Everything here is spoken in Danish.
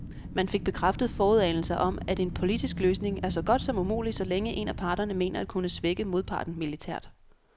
Man fik bekræftet forudanelser om, at en politisk løsning er så godt som umulig, så længe en af parterne mener at kunne svække modparten militært.